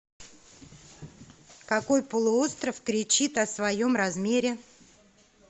какой полуостров кричит о своем размере